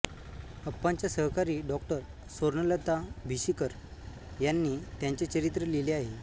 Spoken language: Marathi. अप्पांच्या सहकारी डॉ स्वर्णलता भिशीकर यांनी त्यांचे चरित्र लिहिले आहे